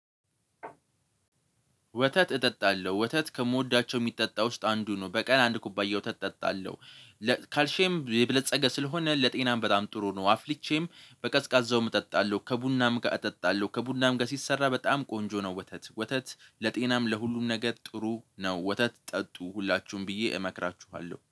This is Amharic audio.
ወተት እጠጣለሁ ወተት ከምወዳቸው የሚጠጣ ውስጥ አንዱ ነው በቀን አንድ ኩባያ ወተት እጠጣለሁ በካልሽዬም የብለጸገ ስለሆነ ለጤናም በጣም ጥሩ ነው። አፍልቼም በቀዝቃዛውም እጠጣለሁ ከቡናም ጋር እጠጣለሁ ከቡናም ጋር ሲሰራ በጣም ቆንጆ ነው። ወተት ወተት ለጤናም ለሁሉም ነገር ጥሩ ነው። ወተት ጠጡ ሁላችሁም ብዬ እመክራችኋለሁ